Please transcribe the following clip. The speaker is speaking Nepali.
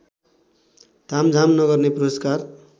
तामझाम नगर्ने पुरस्कार